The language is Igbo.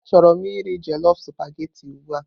Achọrọ m iri jollof supagetii ugbu a.